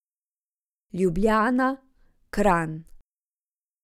Ljubljana, Kranj.